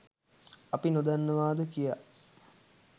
අපි නොදන්නවාද කියා